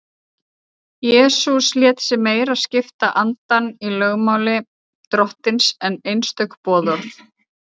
jesús lét sig meira skipta andann í lögmáli drottins en einstök boðorð